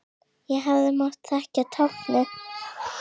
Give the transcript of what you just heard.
Ég hefði mátt þekkja táknið.